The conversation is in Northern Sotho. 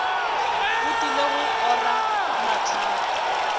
o tlile go ora mahlaku